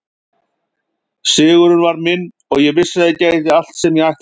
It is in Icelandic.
Sigurinn var minn og ég vissi að ég gæti allt sem ég ætlaði mér.